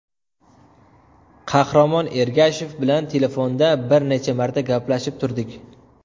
Qahramon Ergashev bilan telefonda bir necha marta gaplashib turdik.